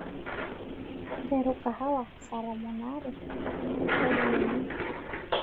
nteru kahawa saa tomon aare tadekenya